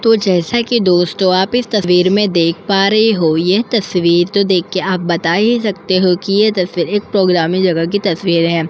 तो जैसा कि दोस्तों आप इस तस्वीर में देख पा रहे हो यह तस्वीर तो देख के आप बता ही सकते हो कि ये तस्वीर एक प्रोग्रामी जगह की तस्वीर है।